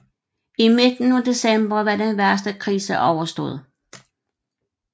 I midten af december var den værste krise overstået